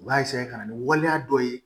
U b'a ka na ni waleya dɔ ye